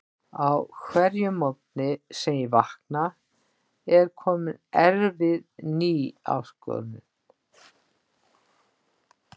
Á hverjum morgni sem ég vakna er komin erfið ný áskorun.